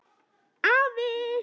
Afi!